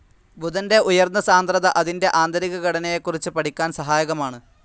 ബുധന്റെ ഉയർന്ന സാന്ദ്രത അതിന്റെ ആന്തരിക ഘടനയെക്കുറിച്ച് പഠിക്കാൻ സഹായകമാണ്‌.